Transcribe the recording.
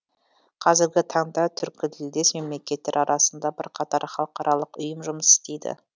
қазіргі таңда түркітілдес мемлекеттер арасында бірқатар халықаралық ұйым жұмыс істейді